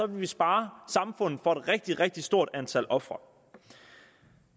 vi spare samfundet for et rigtig rigtig stort antal ofre